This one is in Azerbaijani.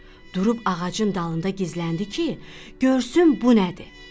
Durub ağacın dalında gizləndi ki, görsün bu nədir.